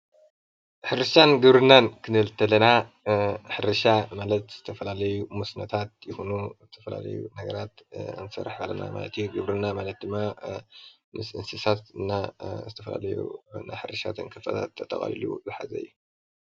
ሕርሻን ግብርናን ክንብል እንተለና ሕርሻን ማለት ዝተፈላለዩ መስኖታት ይኩኑ ዝተፈላለዩ ነገራት ክንሰርሕ ከለና ማለት እዩ። ግብርና ማለት ድማ ምስ እንሰሳት እና ዝተፈላለዩ ሕርሻን ተንከፋት ተጠቅልሉ ዝሓዘ እዩ።